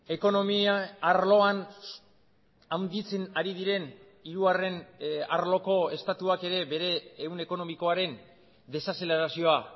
ekonomia arloan handitzen ari diren hirugarren arloko estatuak ere bere ehun ekonomikoaren desazelerazioa